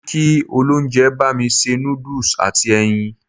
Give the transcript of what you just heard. Mo ní kí olóúnjẹ bá mi ṣe noodles àti ẹyin.